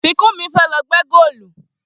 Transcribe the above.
Fikunmi fẹ́ lọ gbẹ́ góòlù